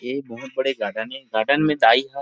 ए बहुत बड़े गार्डन हे गार्डन मे दाई ह।